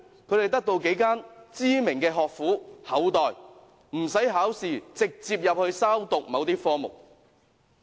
他們得到幾間知名學府厚待，無須考試便可直接入學修讀某些科目。